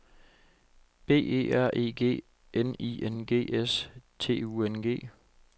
B E R E G N I N G S T U N G